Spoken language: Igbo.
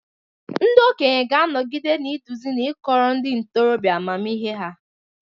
Ndị okenye ga-anọgide na-eduzi na ịkọrọ ndị ntorobịa amamihe ha.